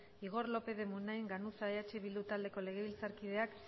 igor lópez de munain ganuza eh bildu taldeko legebiltzarkideak